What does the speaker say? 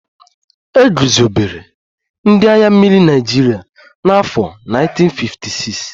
E guzobere ndị agha mmiri Naịjirịa na afọ 1956